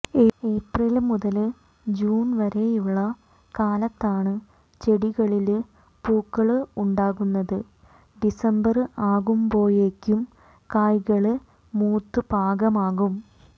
April മുതല് June വരെയുള്ള കാലത്താണ് ചെടികളില് പൂക്കള് ഉണ്ടാകുന്നത് ഡിസംബര് ആകുമ്പോയേക്കും കായ്കള് മൂത്ത് പാകമാകും